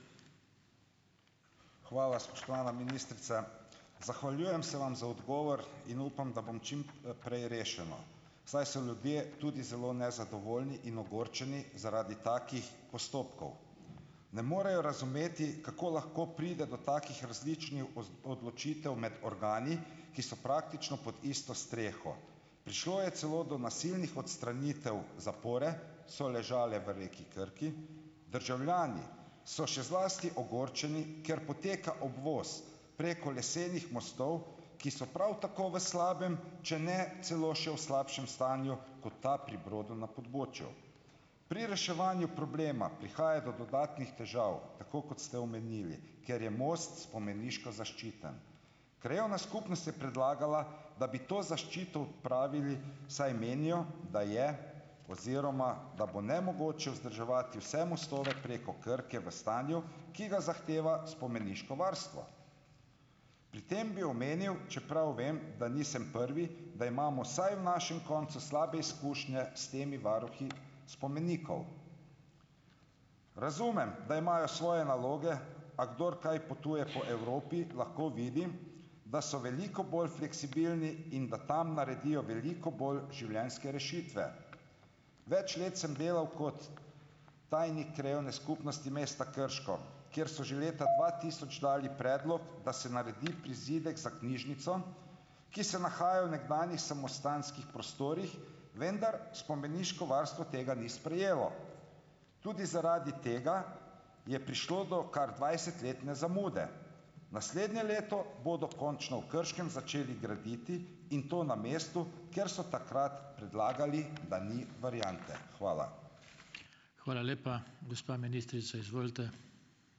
Hvala. Spoštovana ministrica zahvaljujem se vam za odgovor in upam, da bom čim, prej rešeno, saj so ljudje tudi zelo nezadovoljni in ogorčeni zaradi takih postopkov. Ne morejo razumeti, kako lahko pride do takih različnih odločitev med organi, ki so praktično pod isto streho. Prišlo je celo do nasilnih odstranitev zapore, so ležale v reki Krki, državljani so še zlasti ogorčeni, ker poteka obvoz preko lesenih mostov, ki so prav tako v slabem, če ne celo še v slabšem stanju, kot ta pri Brodu na pobočju. Pri reševanju problema prihaja do dodatnih težav, tako kot ste omenili, ker je most spomeniško zaščiten. Krajevna skupnost je predlagala, da bi to zaščito odpravili, saj menijo, da je oziroma da bo nemogoče vzdrževati vse mostove preko Krke v stanju, ki ga zahteva spomeniško varstvo. Pri tem bi omenil, čeprav vem, da nisem prvi, da imamo saj v našem koncu slabe izkušnje s temi varuhi spomenikov. Razumem, da imajo svoje naloge, a kdor kaj potuje po Evropi, lahko vidi, da so veliko bolj fleksibilni in da tam naredijo veliko bolj življenjske rešitve. Več let sem delal kot tajnik krajevne skupnosti mesta Krško, kjer so že leta dva tisoč dali predlog, da se naredi prizidek za knjižnico, ki se nahaja v nekdanjih samostanskih prostorih, vendar spomeniško varstvo tega ni sprejelo. Tudi zaradi tega je prišlo do kar dvajsetletne zamude. Naslednje leto bodo končno v Krškem začeli graditi in to na mestu, kjer so takrat predlagali, da ni variante. Hvala.